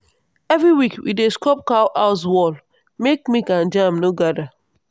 every week we dey scrub cow house wall make milk and germ no gather.